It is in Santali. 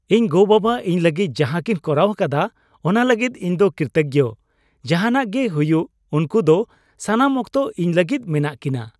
ᱤᱧ ᱜᱚᱼᱵᱟᱵᱟ ᱤᱧ ᱞᱟᱹᱜᱤᱫ ᱡᱟᱦᱟ ᱠᱤᱱ ᱠᱚᱨᱟᱣ ᱟᱠᱟᱫᱟ ᱚᱱᱟ ᱞᱟᱹᱜᱤᱫ ᱤᱧ ᱫᱚ ᱠᱨᱤᱛᱚᱜᱜᱚ ᱾ ᱡᱟᱦᱟᱱᱟᱜ ᱜᱮ ᱦᱩᱭᱩᱜ ᱩᱝᱠᱩ ᱫᱚ ᱥᱟᱱᱟᱢ ᱚᱠᱛᱚ ᱤᱧ ᱞᱟᱹᱜᱤᱫ ᱢᱮᱱᱟᱜ ᱠᱤᱱᱟ ᱾